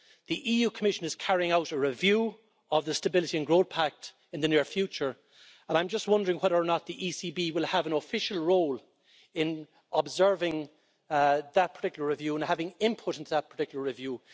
the EU Commission is carrying out a review of the Stability and Growth Pact in the near future, and I'm wondering whether or not the ECB will have an official role in observing that particular review and having input into that particular review.